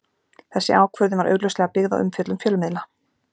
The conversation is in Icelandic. Þessi ákvörðun var augljóslega byggð á umfjöllun fjölmiðla.